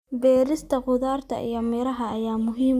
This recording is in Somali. Beerista khudaarta iyo miraha ayaa muhiim u ah nafaqada.